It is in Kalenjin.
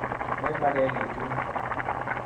Memakekiy chun